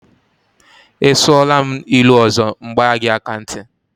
Ị sụọla m ilu ọzọ, m gbaa gị aka ntị.